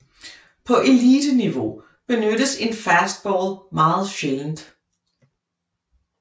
På eliteniveau benyttes en fastball meget sjældent